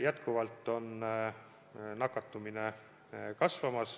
Jätkuvalt nakatumine kasvab.